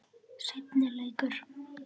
Þær finnast einnig í árósum.